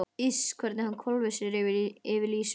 Iss hvernig hann hvolfir sér yfir Lísu.